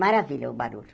Maravilha o barulho.